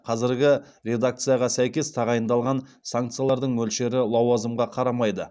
қазіргі редакцияға сәйкес тағайындалған санкциялардың мөлшері лауазымға қарамайды